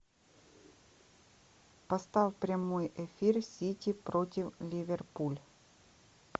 поставь прямой эфир сити против ливерпуль